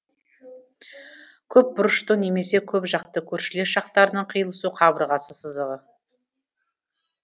көпбұрыштың немесе көпжақтың көршілес жақтарының қиылысу қабырғасы сызығы